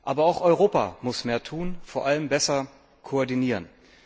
Aber auch Europa muss mehr tun, vor allem besser koordinieren.